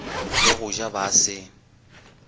le go ja ba se